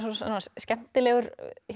skemmtileg